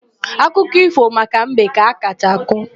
Akụkọ ífò maka mbe ka a kacha akọ.